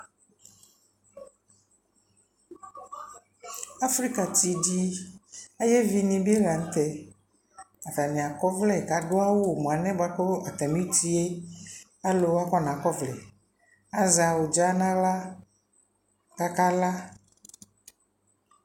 Afrika ti di ayɛ vi ni bi la ntɛAtani akɔ vlɛ ka du awu mua lɛ buaku ata mi tie alu wani akɔna kɔ vlɛ Azɛ awudza na ɣla kaka la